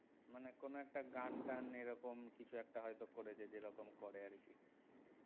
মানে কোন একটা গান টান এরকম কিছু একটা হয়তো করেছে যে রকম করে আরকি